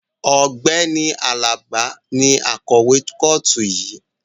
Ọ̀gbẹ́ni Alaba ni akọ̀wé kọ́ọ̀tù yìí